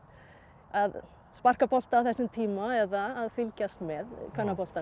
að sparka bolta á þessum tíma eða að fylgjast með kvennaboltanum